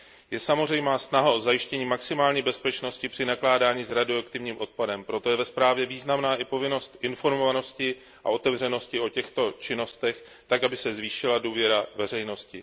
Je samozřejmá snaha o zajištění maximální bezpečnosti při nakládání s radioaktivním odpadem, proto je ve zprávě významná i povinnost informovanosti a otevřenosti o těchto činnostech tak, aby se zvýšila důvěra veřejnosti.